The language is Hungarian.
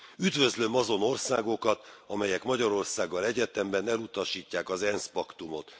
Üdvözlöm azon országokat, amelyek Magyarországgal egyetemben elutasítják az ENSZ paktumot.